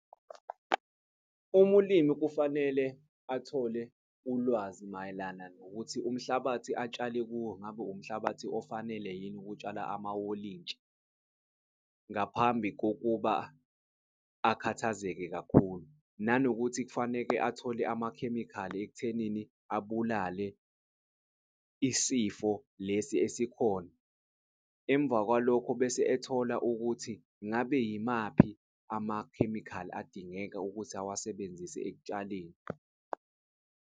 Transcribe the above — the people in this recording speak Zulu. Umulimi kufanele athole ulwazi mayelana nokuthi umhlabathi atshale kuwo, ngabe umhlabathi ofanele yini? Ukutshala amawolintshi ngaphambi kokuba akhathazeke kakhulu, nanokuthi kufaneke athole amakhemikhali ekuthenini abulale isifo lesi esikhona. Emva kwalokho bese ethola ukuthi ngabe yimaphi amakhemikhali adingeka ukuthi awasebenzise ekutshaleni.